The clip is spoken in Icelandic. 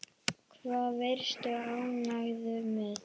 Hvað varstu ánægður með?